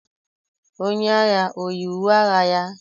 Onye agha o yi uwe agha ya?